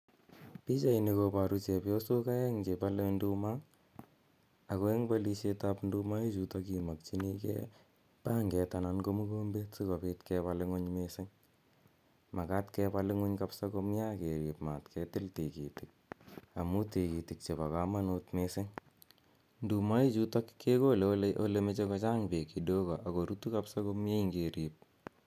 Pichaini koparu chepyosok aeng' che pale nduma ako enh' palishet ap nduma ichutok imakchinigei panget anan ko mukombet asikopit kepal ing'uny missing'. Makat kepa ing'uny kapsa komye ak kerip mat ke til tikitik amu tigitik chepo kamanut missing'. Nduma ichutol kekole ole mache kochang' peek kidogo ako rutu kapsa komye ngerip.